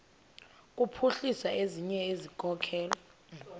kuphuhlisa ezinye izikhokelo